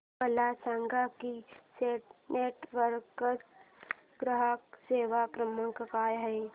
मला सांगा की सिटी नेटवर्क्स चा ग्राहक सेवा क्रमांक काय आहे